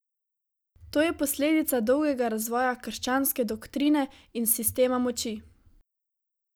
To je posledica dolgega razvoja krščanske doktrine in sistema moči.